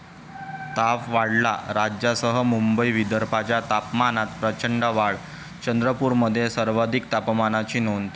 ताप' वाढला! राज्यासह मुंबई, विदर्भाच्या तापमानात प्रचंड वाढ, चंद्रपूरमध्ये सर्वाधिक तापमानाची नोंद